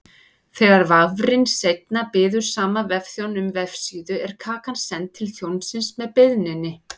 Þegar vafrinn seinna biður sama vefþjón um vefsíðu er kakan send til þjónsins með beiðninni.